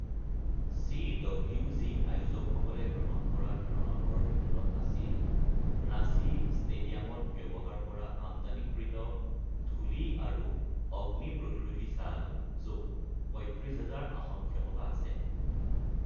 CWG আয়োজকসকলে গ্ৰহণ কৰা ধাৰণাবোৰৰ ভিতৰত আছিল ৰাঁচী ষ্টেডিয়ামত ব্যৱহাৰ কৰা আমদানি কৃত, ধুলি আৰু অগ্নিপ্ৰতিৰোধী চাল, য'ত ৩৫,০০০ আসন ক্ষমতা আছে।